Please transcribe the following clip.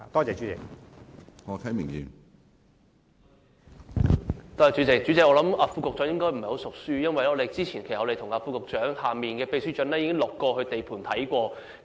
主席，我想副局長應該不太"熟書"，因為我們早前已與副局長屬下的秘書長到過地盤視察。